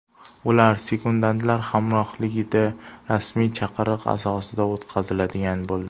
Ular sekundantlar hamrohligida, rasmiy chaqiriq asosida o‘tkaziladigan bo‘ldi.